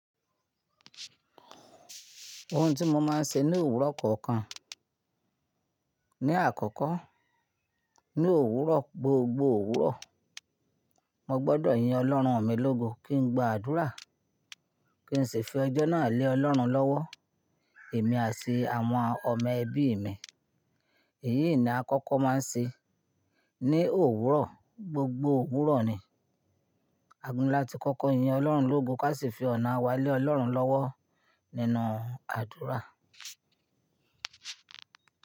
Ohun tí mo máa ń ṣe ní òwúrọ̀ kọ̀ọ̀kan, ní àkọ́kọ́ ní òwúrọ̀, gbogbo òwúrọ̀, mo gbọ́dọ̀ yin Ọlọ́run mi lógo kí n gba àdúrà, kí n sì fi ọjọ́ náà lé Ọlọ́run lọ́wọ́, èmi àti àwọn ọmọ ẹbí mi. Èyí ni a kọ́kọ́ máa ń ṣe ní òwúrọ̀, gbogbo òwúrọ̀ ni. A gbodọ̀ láti kọ́kọ́ yin Ọlọ́run lógo, kí a sì fi ọ̀nà wa lé Ọlọ́run lọ́wọ́ nínú àdúrà.